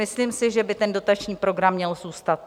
Myslím si, že by ten dotační program měl zůstat.